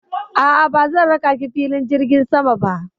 A'a, bazan raka ki filin jirgin sama ba.